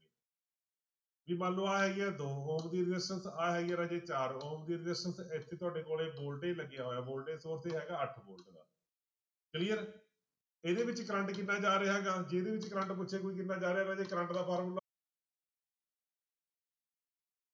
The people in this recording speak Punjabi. ਵੀ ਮੰਨ ਲਓ ਆਹ ਹੈਗੀ ਹੈ ਦੋ ਦੀ resistance ਆਹ ਹੈਗੀ ਹੈ ਰਾਜੇ ਚਾਰ resistance ਇੱਥੇ ਤੁਹਾਡੇੇ ਕੋਲੇ voltage ਲੱਗਿਆ ਹੋਇਆ voltage ਹੈਗਾ ਅੱਠ volte ਦਾ clear ਇਹਦੇ ਵਿੱਚ ਕਰੰਟ ਕਿੰਨਾ ਜਾ ਰਿਹਾ ਹੈਗਾ, ਜਿਹਦੇ ਵਿੱਚ ਕਰੰਟ ਪੁੱਛਿਆ ਕਿੰਨਾ ਜਾ ਰਿਹਾ ਰਾਜੇ ਕਰੰਟ ਦਾ ਫਾਰਮੁਲਾ